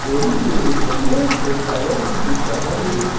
मे एक लंबा से टावर भी दिख रहा है।